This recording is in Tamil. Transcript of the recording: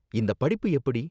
இந்த படிப்பு எப்படி?